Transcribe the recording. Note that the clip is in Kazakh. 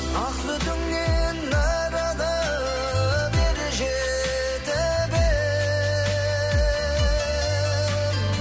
ақ сүтіңнен нәр алып ер жетіп ем